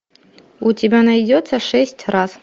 у тебя найдется шесть раз